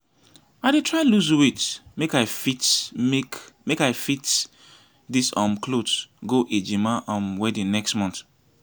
i dey try lose weight make i fit make i fit wear this um cloth go ejima um wedding next month